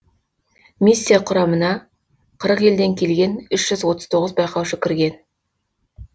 миссия құрамына қырық елден келген үш жүз отыз тоғыз байқаушы кірген